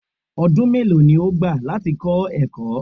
Ọdún mélòó ni ó gbà láti ẹ̀kọ́?